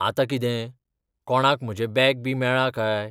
आंतां कितें? कोणाक म्हजें बॅग बी मेळ्ळां काय?